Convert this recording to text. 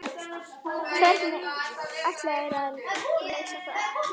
Hvernig ætlarðu að leysa það?